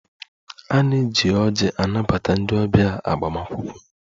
A na-eji anabata ndị ọbịa agbamakwụkwọ